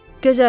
Gözəl!